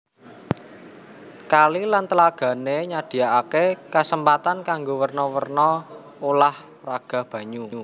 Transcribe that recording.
Kali lan tlagané nyadhiakaké kasempatan kanggo werna werna ulah raga banyu